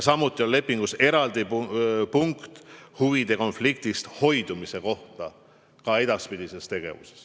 Ja lepingus on eraldi punkt huvide konfliktist hoidumise kohta, ka edaspidises tegevuses.